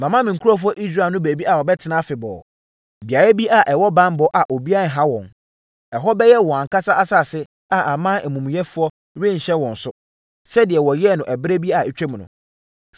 Mama me nkurɔfoɔ Israelfoɔ no baabi a wɔbɛtena afebɔɔ. Beaeɛ bi a ɛwɔ banbɔ a obiara renha wɔn. Ɛhɔ bɛyɛ wɔn ankasa asase a aman amumuyɛfoɔ renhyɛ wɔn so, sɛdeɛ wɔyɛɛ wɔ ɛberɛ bi a atwam no,